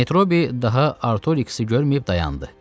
Metrobi daha Artorixsi görməyib dayandı.